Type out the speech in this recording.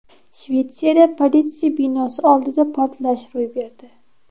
Shvetsiyada politsiya binosi oldida portlash ro‘y berdi.